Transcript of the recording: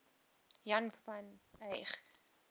jan van eyck